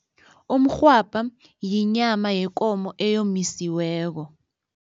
Umrhwabha yinyama yekomo eyomisiweko.